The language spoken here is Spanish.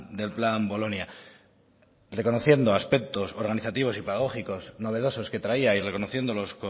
del plan bolonia reconociendo aspectos organizativos y pedagógicos novedosos que traía y reconociéndolos